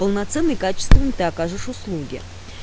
полноценный качественный ты окажешь услуги